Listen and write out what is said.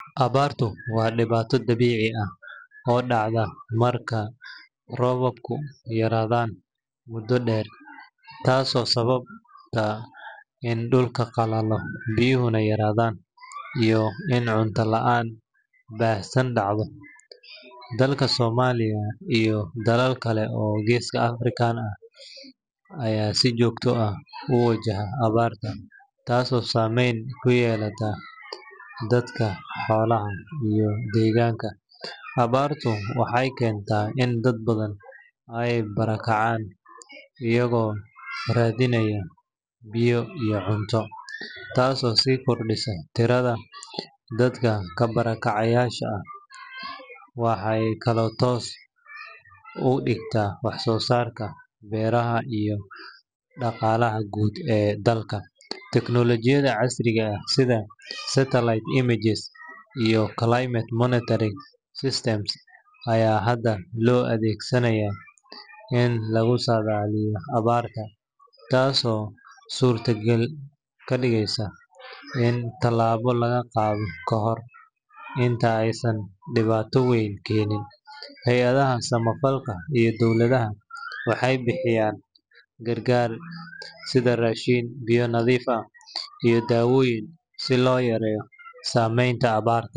Abartu waa diwato dabici ah oo dacda marka robabku yaradhan mudo deer tas oo sawabta in dulka qalalo biyuhuna yaradhan iyo in cunta laan bahsan dacdo dalka somaliya iyo dalal kale aya si jogto ah uwajaha abarta tas oo samen kuyelata deganka, tas oo si kordisa dadka ka bara kacayasha, aya hada lo adhegsanaya in hada lagu ego surta gal inta ee diwato badan kenin, dagmaada gar garka ah waxee bixiyan rashin iyo cunoyin si ee awarta.